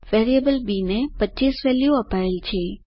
variable B ને 25 value અપાયેલ છે